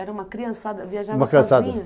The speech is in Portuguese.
Era uma criançada, viajava sozinha? Uma criançada